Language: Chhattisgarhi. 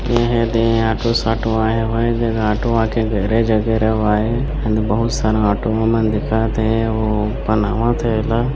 एह ए दे ऑटो साटो आये हवय ए जगह ऑटो आके गैरेज आय एदे बहुत सारा ऑटो मन दिखत हे अउ ओ बनावत हे ए ला--